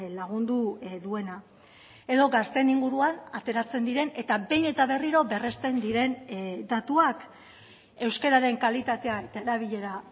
lagundu duena edo gazteen inguruan ateratzen diren eta behin eta berriro berresten diren datuak euskararen kalitatea eta erabilera